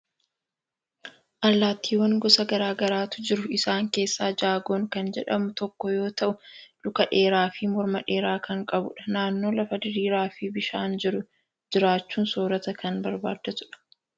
Allaattiiwwan gosa garaa garaatu jiru. Isaaan keessaa jagoon kan jedhamu tokko yoo ta'u, luka dheeraa fi morma dheeraa kan qabudha. Naannoo lafa diriiraa fi bishaan jiru jiraachuun soorata kan barbaaddatudha.